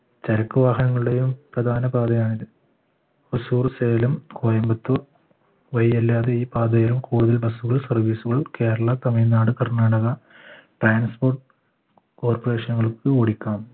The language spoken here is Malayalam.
ചരക്ക് വാഹനങ്ങളുടെയും പ്രധാന പാതയാണിത് ഉസൂർ സേലം കോയമ്പത്തൂർ വഴിയല്ലാതെ ഈ പാതയോ കൂടുതൽ bus കൾ service കൾ കേരള തമിഴ്നാട് കർണാടക transport corporation കൾക്ക് ഓടിക്കാം